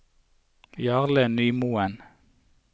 Jarle Nymoen